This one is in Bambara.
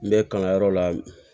N bɛ kalanyɔrɔ la